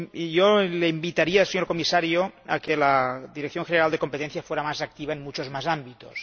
Yo le invitaría, señor Comisario, a que la Dirección General de Competencia fuera más activa en muchos más ámbitos.